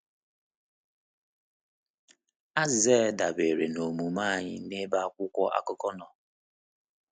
Azịza ya dabere n’omume anyị n’ebe akwụkwọ akụkọ nọ.